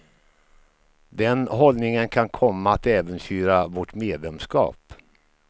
Den hållningen kan komma att äventyra vårt medlemskap.